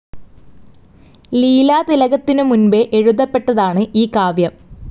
ലീലാതിലകത്തിനു മുൻപേ എഴുതപ്പെട്ടതാണ് ഈ കാവ്യം.